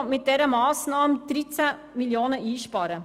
Mit dieser Massnahme will die Regierung 13 Mio. Franken einsparen.